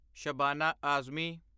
Shabana Azmi